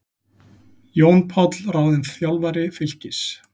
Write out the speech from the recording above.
Jón Páll ráðinn þjálfari Fylkis